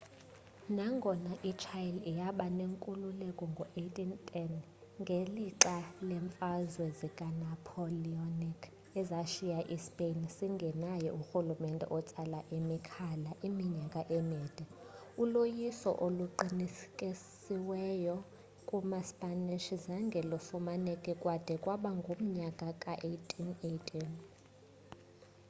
nangona i-chile yaba nenkululeko ngo 1810 ngelixa leemfazwe zika napoleonic ezashiya i-spain singenaye urhulumente otsala imikhala iminyaka emide uloyiso oluqinisekisiweyo kumaspanish zange lufumaneke kwade kwaba ngumnyaka ka 1818